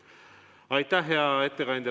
Aitäh, hea ettekandja!